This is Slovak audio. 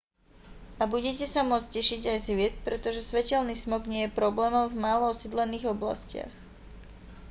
a budete sa môcť tešiť aj z hviezd pretože svetelný smog nie je problémom v málo osídlených oblastiach